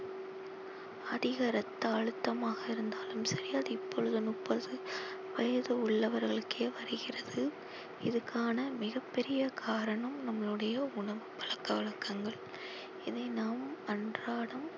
அதிக ரத்த அழுத்தமாக இருந்தாலும் சரி அது இப்பொழுது முப்பது வயது உள்ளவர்களுக்கே வருகிறது இதுக்கான மிகப்பெரிய காரணம் நம்மளுடைய உணவு பழக்க வழக்கங்கள் இதை நாம் அன்றாடம்